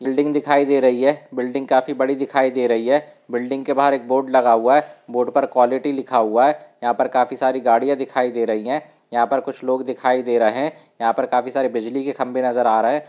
Building दिखाई दे रही हैं बिल्डिंग काफी बड़ी दिखाई दे रही हैं बिल्डिंग के बाहर एक बोर्ड लगा हुआ है बोर्ड पर क्वालिटी लिखा हुआ हैं यहां पर काफी सारी गाड़ियां दिखाई दे रही हैं यहां पर कुछ लोग दिखाई दे रहैं हैं यहां पर काफी सारे बिजली के खंभे नजर आ रहैं हैं।